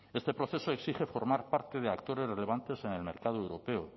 este proceso exige formar parte de actores relevantes en el mercado europeo